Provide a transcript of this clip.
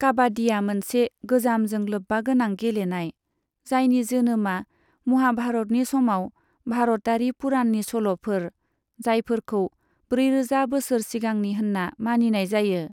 काबाड्डीआ मोनसे गोजामजों लोब्बागोनां गेलेनाय, जायनि जोनोमआ महाभारतनि समाव भारतारि पुराननि सल'फोर, जायफोरखौ ब्रैरोजा बोसोर सिगांनि होनना मानिनाय जायो।